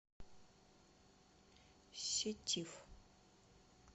сетиф